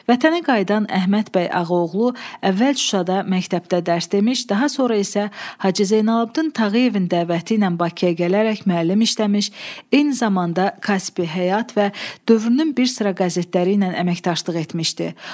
Vətənə qayıdan Əhməd bəy Ağaoğlu əvvəl Şuşada məktəbdə dərs demiş, daha sonra isə Hacı Zeynalabdin Tağıyevin dəvəti ilə Bakıya gələrək müəllim işləmiş, eyni zamanda Kaspi, Həyat və dövrünün bir sıra qəzetləri ilə əməkdaşlıq etmişdi.